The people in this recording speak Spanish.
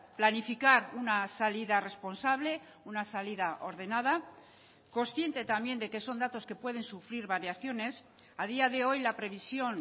planificar una salida responsable una salida ordenada consciente también de que son datos que pueden sufrir variaciones a día de hoy la previsión